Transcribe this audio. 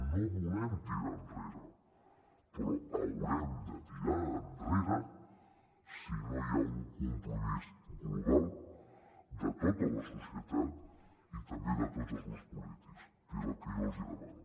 no volem tirar enrere però haurem de tirar enrere si no hi ha un compromís global de tota la societat i també de tots els grups polítics que és el que jo els demano